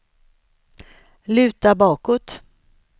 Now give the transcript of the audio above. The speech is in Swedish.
luta bakåt